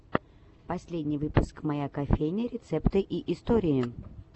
последний выпуск моя кофейня рецепты и истории